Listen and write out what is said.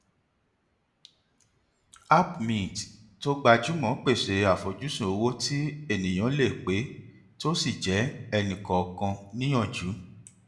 app mint tó gbajúmọ pèsè àfojúsùn owó tí ènìyàn lè pé tó sì jẹ ẹnikọọkan níyànjú